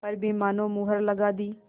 पर भी मानो मुहर लगा दी